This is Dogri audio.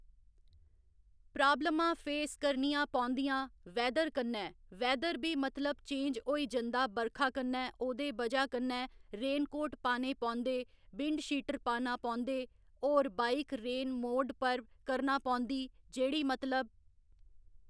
प्राब्लमां फेस करनियां पौंदियां वैदर कन्नै वैदर बी मतलब चेंज होई जंदा बरखा कन्नै ओह्दे बजह कन्नै रेनकोट पाने पौंदे वेवशटर पाना पौंदे होर बाईक रेन मोड पर करना पौंदी जेह्ड़ी मतलब